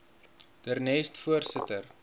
der nest voorsitter